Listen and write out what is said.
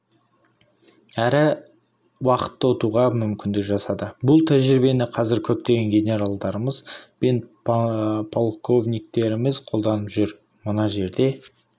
әрі уақытты ұтуға мүмкіндік жасады бұл тәжірибені қазір көптеген генералдарымыз бен полковниктеріміз қолданып жүр мына жерде